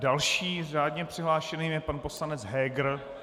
Dalším řádně přihlášeným je pan poslanec Heger.